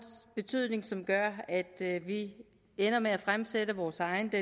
betydning som gør at at vi ender med at fremsætte vores eget